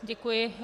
Děkuji.